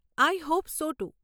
I hope so two.